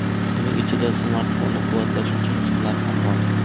Uning ichida smartfonni quvvatlash uchun simlar ham bor.